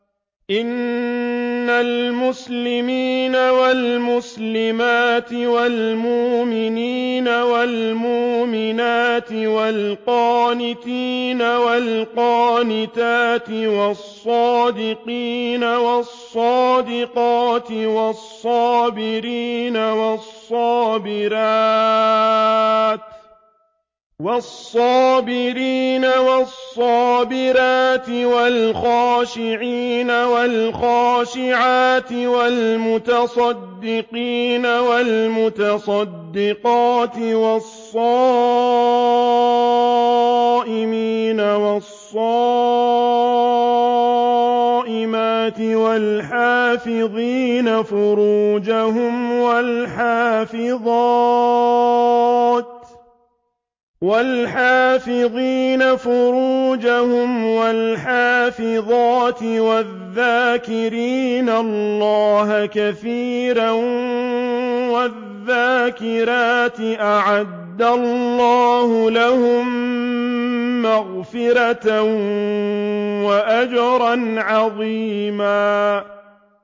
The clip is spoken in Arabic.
إِنَّ الْمُسْلِمِينَ وَالْمُسْلِمَاتِ وَالْمُؤْمِنِينَ وَالْمُؤْمِنَاتِ وَالْقَانِتِينَ وَالْقَانِتَاتِ وَالصَّادِقِينَ وَالصَّادِقَاتِ وَالصَّابِرِينَ وَالصَّابِرَاتِ وَالْخَاشِعِينَ وَالْخَاشِعَاتِ وَالْمُتَصَدِّقِينَ وَالْمُتَصَدِّقَاتِ وَالصَّائِمِينَ وَالصَّائِمَاتِ وَالْحَافِظِينَ فُرُوجَهُمْ وَالْحَافِظَاتِ وَالذَّاكِرِينَ اللَّهَ كَثِيرًا وَالذَّاكِرَاتِ أَعَدَّ اللَّهُ لَهُم مَّغْفِرَةً وَأَجْرًا عَظِيمًا